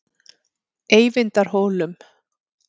Eyvindarhólum